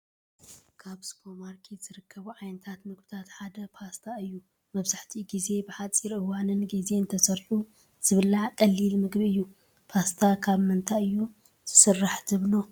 ካብ ሱፐርማኬት ዝርከቡ ዓይነት ምግብታት ሓደ ፓስታ እዩ፡፡ መብዛሕትኡ ጊዜ ብሓፂር እዋንን ጊዜን ተሰሪሑ ዝብላዕ ቀሊል ምግቢ እዩ፡፡ ፓስታ ካብ ምንታይ እዩ ዝስራሕ ትብሉ?